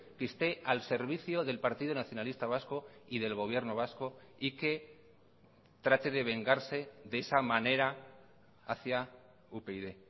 que esté al servicio del partido nacionalista vasco y del gobierno vasco y que trate de vengarse de esa manera hacia upyd